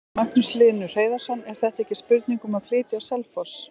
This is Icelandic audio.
Magnús Hlynur Hreiðarsson: Er þetta ekki spurning um að flytja á Selfoss?